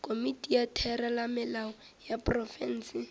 komiti ya theramelao ya profense